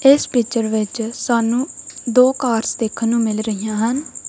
ਇਸ ਪਿਕਚਰ ਵਿੱਚ ਸਾਨੂੰ ਦੋ ਕਾਰਸ ਦੇਖਨ ਨੂੰ ਮਿਲ ਰਹੀਆਂ ਹਨ।